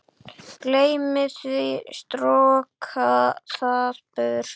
Gleymi því, stroka það burt.